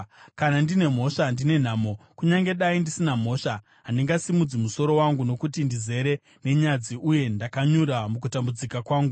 Kana ndine mhosva, ndine nhamo! Kunyange dai ndisina mhosva, handingasimudzi musoro wangu, nokuti ndizere nenyadzi uye ndakanyura mukutambudzika kwangu.